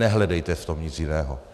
Nehledejte v tom nic jiného.